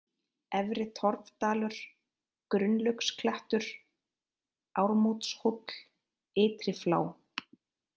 Efri-Torfdalur, Gunnlaugsklettur, Ármótshóll, Ytriflá